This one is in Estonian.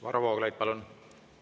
Varro Vooglaid, palun!